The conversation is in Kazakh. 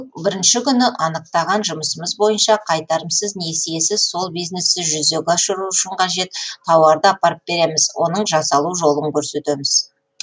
бірінші күні анықтаған жұмысымыз бойынша қайтарымсыз несиесіз сол бизнесті жүзеге асыру үшін қажет тауарды апарып береміз оның жасалу жолын көрсетеміз